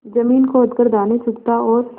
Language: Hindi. जमीन खोद कर दाने चुगता और